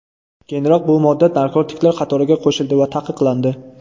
Keyinroq bu modda narkotiklar qatoriga qo‘shildi va taqiqlandi.